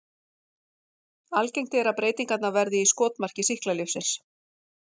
Algengt er að breytingarnar verði í skotmarki sýklalyfsins.